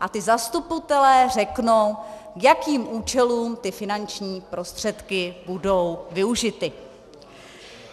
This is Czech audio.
a ti zastupitelé řeknou, k jakým účelům ty finanční prostředky budou využity.